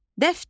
Dəftər.